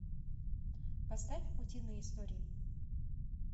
поставь утиные истории